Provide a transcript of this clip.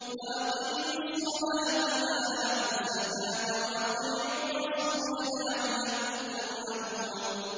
وَأَقِيمُوا الصَّلَاةَ وَآتُوا الزَّكَاةَ وَأَطِيعُوا الرَّسُولَ لَعَلَّكُمْ تُرْحَمُونَ